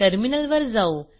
टर्मिनलवर जाऊ